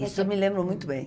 Isso eu me lembro muito bem.